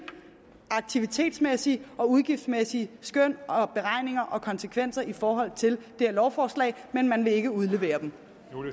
aktivitetsmæssige og udgiftsmæssige konsekvenser i forhold til det her lovforslag men man vil ikke udlevere dem